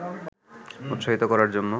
উৎসাহিত করার জন্য